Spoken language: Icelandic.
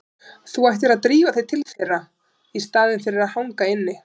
Þú ættir að drífa þig til þeirra í staðinn fyrir að hanga inni.